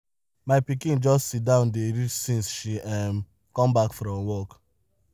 my pikin just sit down dey read since she um come back from work.